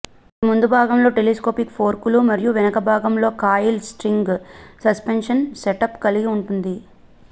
ఇది ముందు భాగంలో టెలిస్కోపిక్ ఫోర్కులు మరియు వెనుక భాగంలో కాయిల్ స్ప్రింగ్ సస్పెన్షన్ సెటప్ కలిగి ఉంటుంది